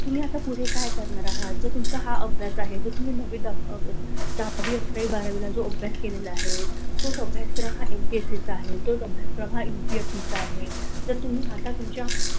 तुम्ही आता पुढचं काय करणार आहात जर तुमचा हा अभ्यास आहे! नववी, दहावी, अकरावी, बारावीला चा अभ्यास केला तो अभ्यासक्रम एमएससीसी आहे तोच अभ्यासक्रम हा उपीएसीसीचाआहे.